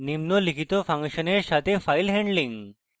নিম্নলিখিত ফাংশনের সাথে file handling